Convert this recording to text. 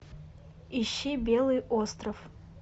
ищи белый остров